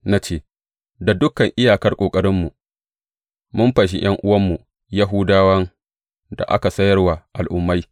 Na ce, Da dukan iyakar ƙoƙarinmu, mun fanshi ’yan’uwanmu Yahudawan da aka sayar wa Al’ummai.